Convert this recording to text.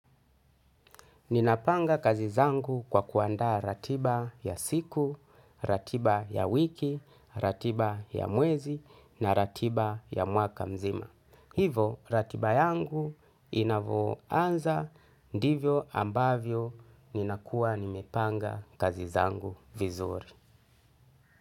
Ninapanga kazi zangu kwa kuandaa ratiba ya siku, ratiba ya wiki, ratiba ya mwezi na ratiba ya mwaka mzima. Hivo ratiba yangu inavooanza, ndivyo ambavyo ninakua nimepanga kazi zangu vizuri.